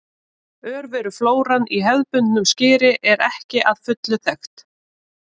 Örveruflóran í hefðbundnu skyri er ekki að fullu þekkt.